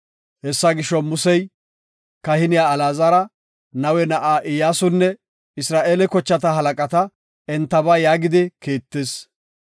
Hessa gisho, Musey kahiniya Alaazara, Nawe na7a Iyyasunne Isra7eele kochata halaqata entaba yaagidi Kiittis.